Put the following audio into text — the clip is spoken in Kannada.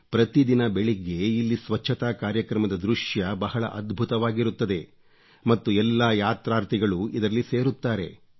ಪ್ರತಿದಿನ ಬೆಳಗ್ಗೆ ಇಲ್ಲಿ ಸ್ವಚ್ಚತಾ ಕಾರ್ಯಕ್ರಮದ ದೃಶ್ಯ ಬಹಳ ಅದ್ಭುತವಾಗಿರುತ್ತದೆ ಮತ್ತು ಎಲ್ಲಾ ಯಾತ್ರಾರ್ಥಿಗಳು ಇದರಲ್ಲಿ ಸೇರುತ್ತಾರೆ